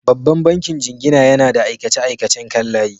Babban bankin jingina yana da aikace-aikacen kan layi.